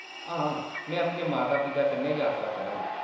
हां, मैं अपने माता-पिता कन्नै जात्तरा करङ।